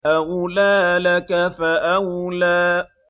أَوْلَىٰ لَكَ فَأَوْلَىٰ